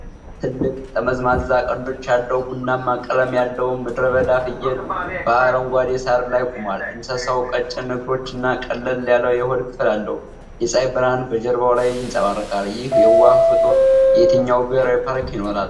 ትልቅ ጠመዝማዛ ቀንዶች ያለው ቡናማ ቀለም ያለው ምድረበዳ ፍየል በአረንጓዴ ሳር ላይ ቆሟል። እንስሳው ቀጭን እግሮችና ቀለል ያለ የሆድ ክፍል አለው። የፀሐይ ብርሃን በጀርባው ላይ ይነጸባረቃል። ይህ የዋህ ፍጡር የትኛው ብሔራዊ ፓርክ ይኖራል?